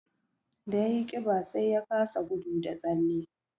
Da ya yi ƙiba, sai ya kasa gudu da tsalle